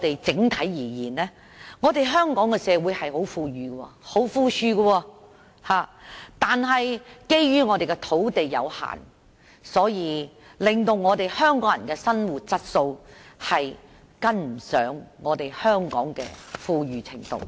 整體而言，香港社會十分富裕，但基於土地有限，令香港人的生活質素追不及本港的富裕程度。